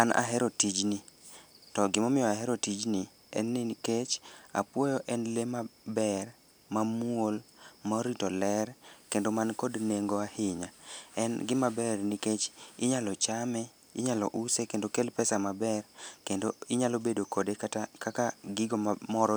An ahero tijni to gimomiyo ahero tijni en ni nikech apuoyo en lee maber, mamuol, morito ler, kendo mankod nengo ahinya. En gimaber nikech inyalo chame, inyalo use kendo okel pesa maber kendo inyalo bedo kode kata kaka gigo mamoro